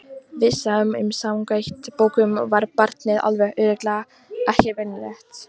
Við sáum að samkvæmt bókunum var barnið alveg örugglega ekki venjulegt.